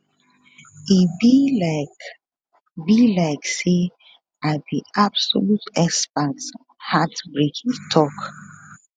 e be like be like say i be absolute expert on heartbreak e tok